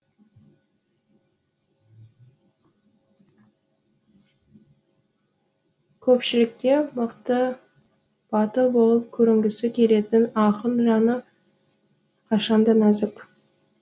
көпшілікке мықты батыл болып көрінгісі келетін ақын жаны қашан да нәзік